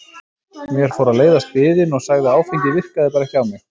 Mér fór að leiðast biðin og sagði að áfengið virkaði bara ekki á mig.